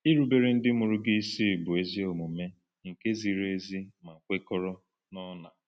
Irubere ndị mụrụ gị isi “bụ ezi omume”—nke ziri ezi ma kwekọrọ n’ọnà.